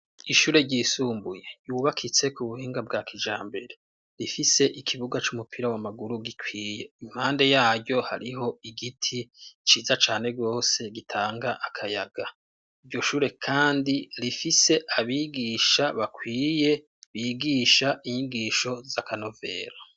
Ishure ryisumbuye ryubakitse ku buhinga bwa kijambere, rifise ikibuga c'umupira w'amaguru gikwiye, impande yaryo hariho igiti ciza cane gose gitanga akayaga. Iryo shure kandi rifise abigisha bakwiye bigisha inyigisho z'akanovera.